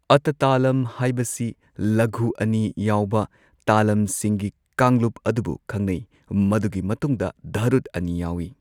ꯑꯇꯥ ꯇꯥꯂꯝ ꯍꯥꯢꯕꯁꯤ ꯂꯘꯨ ꯑꯅꯤ ꯌꯥꯎꯕ ꯇꯥꯂꯝꯁꯤꯡꯒꯤ ꯀꯥꯡꯂꯨꯞ ꯑꯗꯨꯕꯨ ꯈꯪꯅꯩ, ꯃꯗꯨꯒꯤ ꯃꯇꯨꯡꯗ ꯙꯔꯨꯠ ꯑꯅꯤ ꯌꯥꯎꯏ꯫